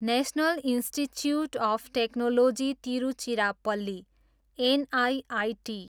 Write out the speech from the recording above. national institute of technology Tiruchirappalli, NIIT